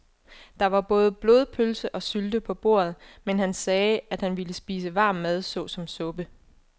Der var både blodpølse og sylte på bordet, men han sagde, at han bare ville spise varm mad såsom suppe.